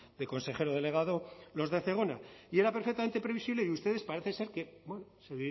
de consejero delegado los de zegona y era perfectamente previsible y ustedes parece ser que bueno se